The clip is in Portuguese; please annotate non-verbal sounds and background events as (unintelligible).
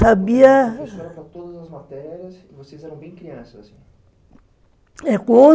Sabia... (unintelligible) Vocês eram bem crianças (unintelligible)